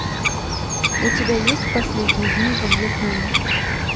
у тебя есть последние дни во вьетнаме